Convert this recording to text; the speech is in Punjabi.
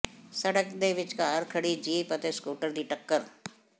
ਸੜਕ ਦੇ ਵਿਚਕਾਰ ਖੜ੍ਹੀ ਜੀਪ ਅਤੇ ਸਕੂਟਰ ਦੀ ਟਕੱਰ